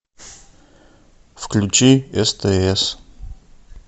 включи стс